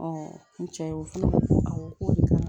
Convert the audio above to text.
n cɛ ye o ko